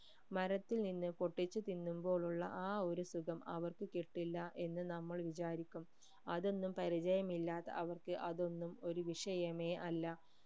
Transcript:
മരത്തിൽ നിന്ന് പൊട്ടിച് തിന്നുമ്പോൾ ഉള്ള ആ ഒരു സുഖം അവർക്ക് കിട്ടില്ല എന്ന് നമ്മൾ വിചാരിക്കും അതൊന്നും പരിചയമില്ലാത്ത അവർക്ക് അതൊന്നും ഒരു വിഷയമേ അല്ല